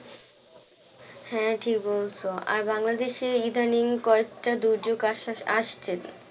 হ্যাঁ ঠিক বলছো আর বাংলাদেশে ইদানিং কয়েকটা দুর্যোগ আসা আসছে